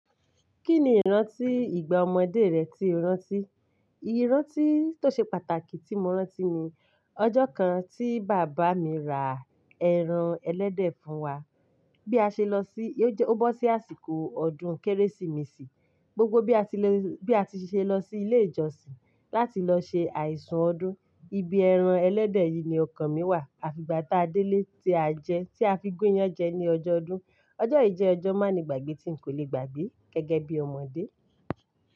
Kí ni ìrántí ìgbà ọmọdé rẹ tí o rántí? Ìrántí tó ṣe pàtàkì tí mo rántí ni ọjọ́ kan tí bàbá mi ra ẹran ẹlẹ́dẹ̀ fún wa. Bí a ṣe lọ sí-- ó bọ́ sí àsìkò ọdún Kérésìmesì, gbogbo bí a ti le, bí a ti ṣe lọ sí ilé ìjọsìn láti lọ ṣe àìsùn ọdún, ibi ẹran ẹlẹ́dẹ̀ yìí ni ọkàn mí wà. Àfi ìgbà táa délé tí a jẹ, tí a fi gúnyán jẹ ní ọjọ́ ọdún. Ọjọ́ yìí jẹ́ ọjọ́ má ni gbàgbé tí n kò le gbàgbé gẹ́gẹ́ bí ọmọdé.